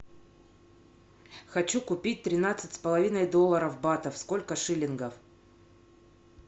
хочу купить тринадцать с половиной долларов батов сколько шиллингов